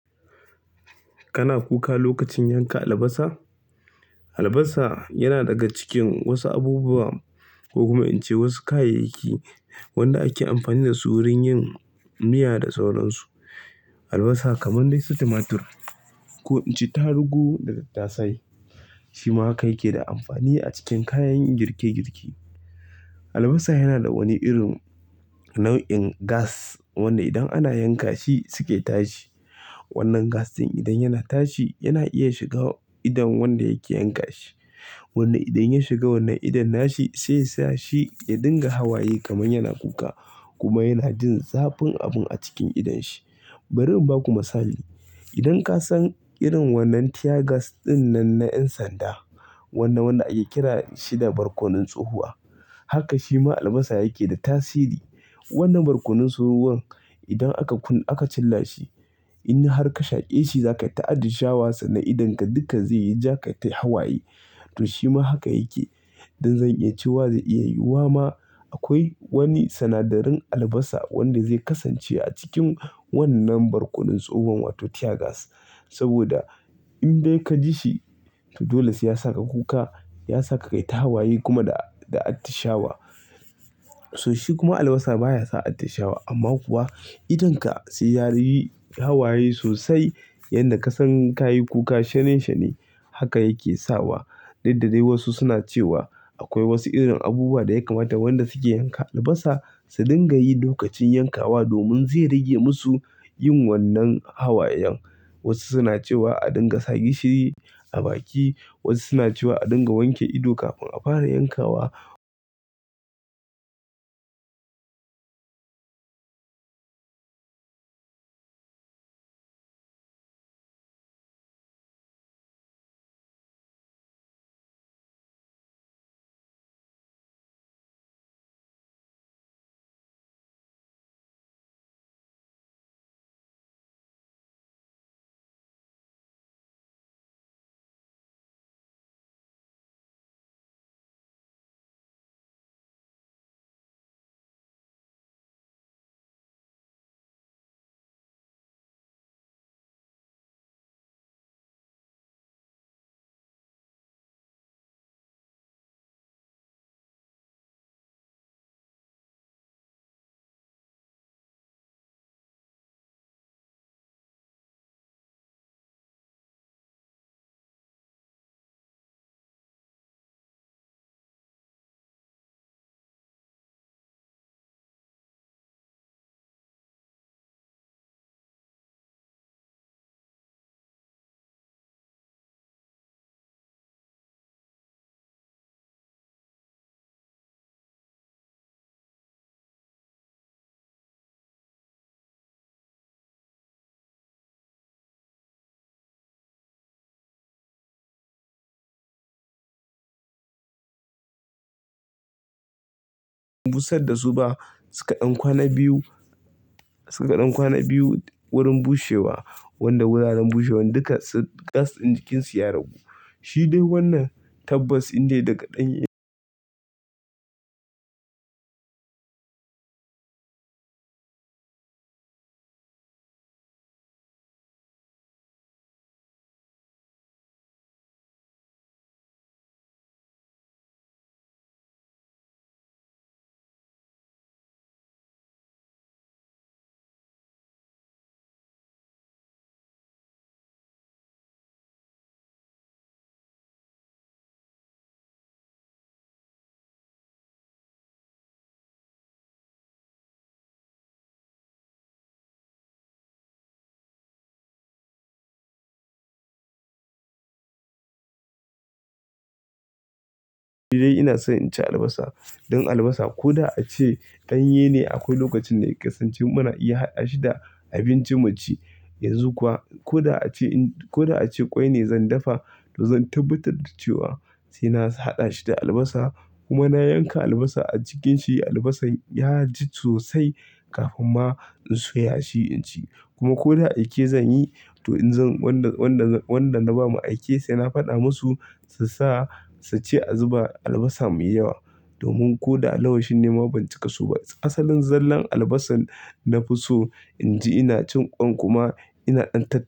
Kana kuka lokacin yanka albasa? Albasa yana daga cikin wasu abubuwa ko kuma in ce wasu kayayyaki wanda ake amfani da su wurin yin miya da sauransu. Albasa kamar dai su tumatur ko in ce tarugu da tattasai, shi ma kai ke da amfani a cikin kayan girke-girke. Albasa yana da wani irin nau'in gas wanda idan ana yanka shi suke tashi. Wannan gas ɗin idan yana tashi yana iya shiga idon wanda yake yanka shi. Wanda idan ya shiga wannan idon nashi sai sa shi ya dinga hawaye kamar yana kuka kuma yana jin zafin abun a cikin idon shi. Bari in ba ku misali, idan ka san irin wannan tear gas ɗin nan na ƴan sanda, wannan wanda ake kira shi da barkonon tsohuwa, haka shi ma albasa yake da tasiri. Wannan barkonon tsohuwar idan aka kun aka cilla shi, in har ka shaƙe shi zakayi ta addi shawa sannan idonka dukka zai yi ja kai ta hawaye. To shi ma haka yake. Don zan iya cewa zai iya yiwuwa ma akwai wani sinadarin albasa wanda zai kasance a cikin wannan barkonon tsohuwar wato tear gas. Saboda in dai ka ji shi, to dole sai ya saka kuka, ya saka ka yi ta hawaye kuma da, da atti shawa. To shi kuma albasa baya sa atti shawa amma kuwa idonka sai ya yi hawaye sosai yadda ka san ka yi kuka shane shane. Haka yake sawa. Daidai da dai wasu suna cewa akwai wasu irin abubuwa da ya kamata wanda suke yanka albasa su dinga yi lokacin yankawa domin zai rage musu yin wannan hawayen. Wasu suna cewa a dinga sa gishiri a baki, wasu suna cewa a dinga wanke ido kafin a fara yankawa. Busar da su ba suka ɗan kwana biyu, suka ɗan kwana biyu wurin bushewa wanda guraren bushewan duka gas ɗin jikin su ya ragu. Shi dai wannan tanbas ɗin ne daga ɗanye. Dai ina son inci albasa. Don albasa ko da a ce ɗanye ne akwai lokacin da ya kasance muna iya haɗa shi da abinci mu ci. Yanzu kuwa ko da a ce in ko da a ce ƙwai ne zan dafa to zan tabbatar da cewa sai na haɗa shi da albasa kuma na yanka albasa a cikin shi. Albasan ya ji sosai kafin ma in soya shi in ci. Kuma ko da aike zan yi to in zan wanda, wanda, wanda na bama aike sai na faɗa musu su sa su ce a zuba albasa mai yawa. Domin ko da a lawashi nima ban cika so ba. Asalin zallan albasan na fi so in ci ina cin ƙwan kuma ina ɗan tat.